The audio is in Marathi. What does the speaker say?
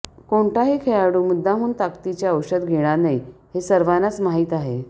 कोणताही खेळाडू मुद्दामहून ताकदीचे औषधे घेणार नाही हे सर्वांनाच माहीत आहे